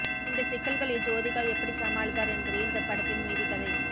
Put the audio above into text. இந்த சிக்கல்களை ஜோதிகா எப்படி சமாளித்தார் என்பதே இந்த படத்தின் மீதிக்கதை